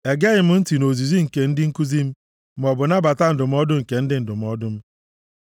Egeghị m ntị nʼozizi nke ndị nkuzi m maọbụ nabata ndụmọdụ nke ndị ndụmọdụ m.